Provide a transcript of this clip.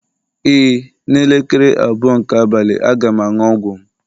Ee, n'elekere abụọ nke abalị, a ga m aṅụ ọgwụ m